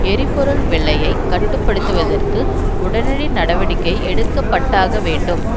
எரிபொருள் விலையை கட்டு படுத்துவதற்கு உடனடி நடவடிக்கை எடுக்கப்பட்டாக வேண்டும்